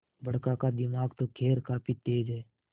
बड़का का दिमाग तो खैर काफी तेज है